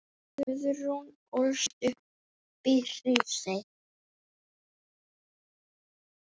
Guðrún ólst upp í Hrísey.